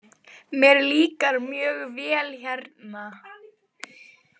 Mér líkar mjög vel hérna.